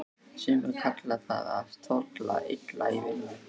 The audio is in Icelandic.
Sumir kalla það að tolla illa í vinnu.